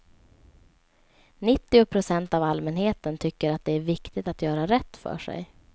Nittio procent av allmänheten tycker att det är viktigt att göra rätt för sig.